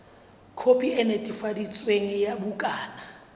khopi e netefaditsweng ya bukana